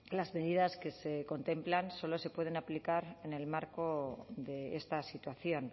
las medidas que se contemplan solo se pueden aplicar en el marco de esta situación